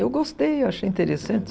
Eu gostei, eu achei interessante.